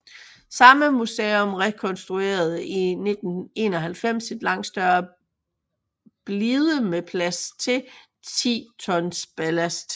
Samme museum rekonstruerede i 1991 en langt større blide med plads til 10 tons ballast